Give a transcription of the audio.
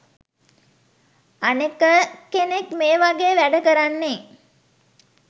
අනෙක කෙනෙක් මේ වගේ වැඩ කරන්නේ